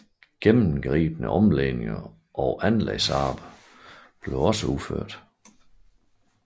Gennemgribende omlægninger og anlægsarbejder blev også udført